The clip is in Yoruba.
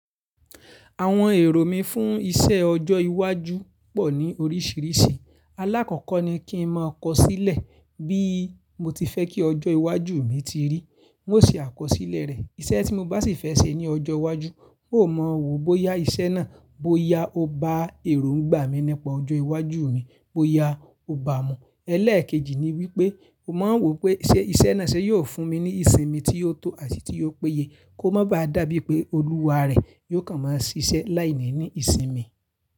Àwọn èrò mí fún iṣẹ ọjọ́ iwájú pọ̀ ní oríṣìíríṣìí. Alákọ̀kọ ni kí n máa kọ sílẹ̀ bí mo ti fẹ́ kí ọjọ́ iwájú mi ti rí. Un o se àkọsílẹ̀ rẹ̀. Iṣẹ tí mo bá sì fẹ́ ṣe ní ọjọ́ iwájú, mò mọ̀ wò bóyá iṣẹ́ náà, bóyá ó bá èròǹgbà mi nípa ọjọ́ iwájú mi, bóyà ó bá a mu. Ẹlẹ́ẹ̀kejì ni wípé mo mọ̀ wò pé ṣẹ́ ise náà ṣe yóò fún mi ní ìsinmi tí yóò tó àti tí yóò péye kó má bá dà bí pé olúwa rẹ̀ yóò kàn máa ṣiṣẹ́ láìní ni ìsinmi.